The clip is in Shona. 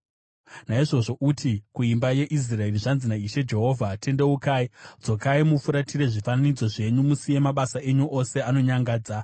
“Naizvozvo uti kuimba yeIsraeri, ‘Zvanzi naIshe Jehovha: Tendeukai! Dzokai mufuratire zvifananidzo zvenyu musiye mabasa enyu ose anonyangadza!